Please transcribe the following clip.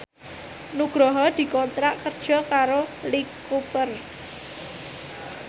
Nugroho dikontrak kerja karo Lee Cooper